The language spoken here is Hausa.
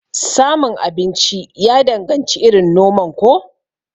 Samun abinci ya danganci irin noman ko?